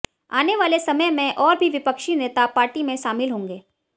आने वाले समय में और भी विपक्षी नेता पार्टी में शामिल होंगे